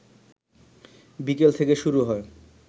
বিকেল থেকে শুরু হয়